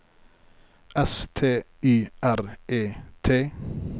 S T Y R E T